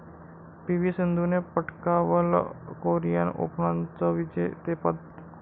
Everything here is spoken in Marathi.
पी.व्ही सिंधूने पटकावलं कोरिअन ओपनचं विजेतेपद